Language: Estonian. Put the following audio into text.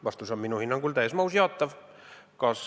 Vastus on minu hinnangul täies mahus jaatav.